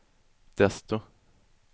desto